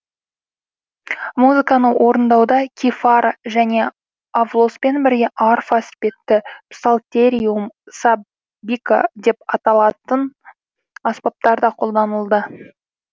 музыканы орындауда кифара және авлоспен бірге арфа іспетті псалтериум самбика деп аталатын аспаптар да қолданылды